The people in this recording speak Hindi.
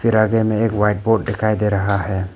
फिर आगे में एक व्हाइट बोर्ड दिखाई दे रहा है।